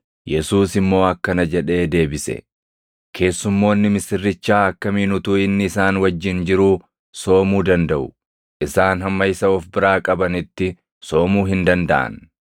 Yesuus immoo akkana jedhee deebise; “Keessummoonni misirrichaa akkamiin utuu inni isaan wajjin jiruu soomuu dandaʼu? Isaan hamma isa of biraa qabanitti soomuu hin dandaʼan.